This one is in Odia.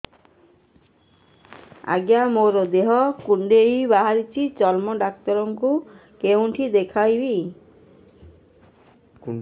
ଆଜ୍ଞା ମୋ ଦେହ ରେ କୁଣ୍ଡିଆ ବାହାରିଛି ଚର୍ମ ଡାକ୍ତର ଙ୍କୁ କେଉଁଠି ଦେଖେଇମି